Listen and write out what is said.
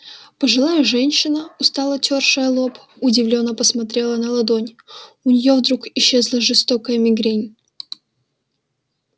пожилая женщина устало тёршая лоб удивлённо посмотрела на ладонь у неё вдруг исчезла жестокая мигрень